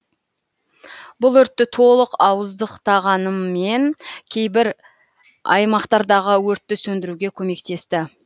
бұл өртті толық ауыздықтамағанымен кейбір аймақтардағы өртті сөндіруге көмектесті